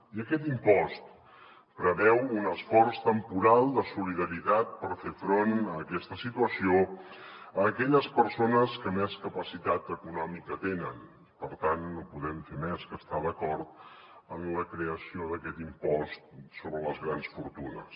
i aquest impost preveu un esforç temporal de solidaritat per fer front a aquesta situació a aquelles persones que més capacitat econòmica tenen i per tant no podem fer més que estar d’acord en la creació d’aquest impost sobre les grans fortunes